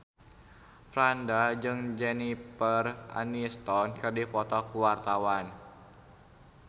Franda jeung Jennifer Aniston keur dipoto ku wartawan